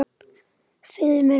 Segðu mér eitt.